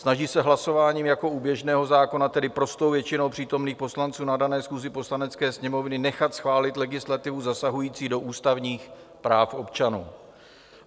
Snaží se hlasováním jako u běžného zákona, tedy prostou většinou přítomných poslanců na dané schůzi Poslanecké sněmovny, nechat schválit legislativu zasahující do ústavních práv občanů.